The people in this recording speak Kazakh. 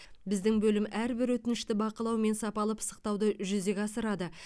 біздің бөлім әрбір өтінішті бақылау мен сапалы пысықтауды жүзеге асырады